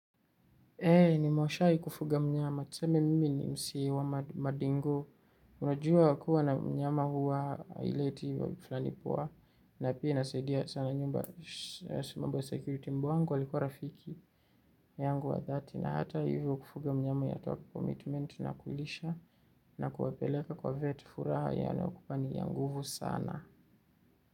Eee ni moshai kufuga mnyama, tuseme mimi ni msee wa madingo. Unajua kua na mnyama huwa haileti wa flani poa, na pia inasaidia sana nyumba, mambo ya security mbwa wangu, alikua rafiki yangu wa thati, na hata hivyo, kufuga mnyama inataka commitment na kulisha, na kuwapeleka kwa vet. Furaha yaani ukupani ya nguvu sana.